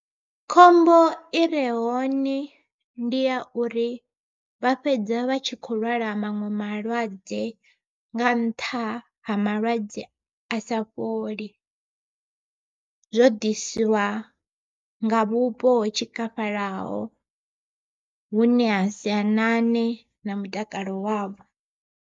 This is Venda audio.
Khombo i re hone ndi ya uri vha fhedza vha tshi kho lwala maṅwe malwadze nga nṱha ha malwadze a sa fholi, zwo ḓisiwa nga vhupo ho tshikafhalaho vhune ha sianane na mutakalo wavho.